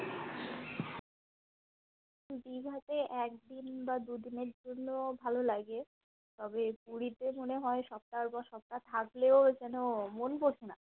দীঘাতে একদিন বা দুদিন এর জন্য ভালো লাগে তবে পুরীতে মনে হয় সপ্তাহ বা সপ্তাহ থাকলেও যেন মন বসে না